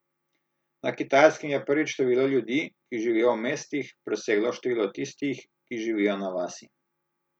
Na Kitajskem je prvič število ljudi, ki živijo v mestih, preseglo število tistih, ki živijo na vasi.